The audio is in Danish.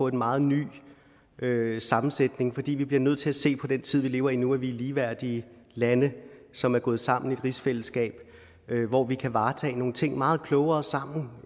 en meget ny sammensætning fordi vi bliver nødt til at se på den tid vi lever i nu altså at vi er ligeværdige lande som er gået sammen i et rigsfællesskab hvor vi kan varetage nogle ting meget klogere sammen